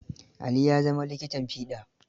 Ali ya zama likitan fiɗa.